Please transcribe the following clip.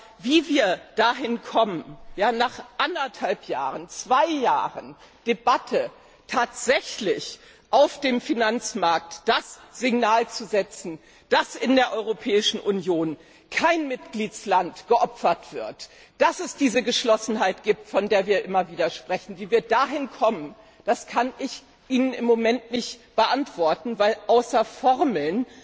Aber wie wir dahin kommen, nach anderthalb Jahren, zwei Jahren Debatte tatsächlich auf dem Finanzmarkt das Signal zu setzen, dass in der Europäischen Union kein Mitgliedstaat geopfert wird, dass es diese Geschlossenheit gibt, von der wir immer wieder sprechen wie wir dahin kommen, kann ich Ihnen im Moment nicht beantworten, weil mir außer Formeln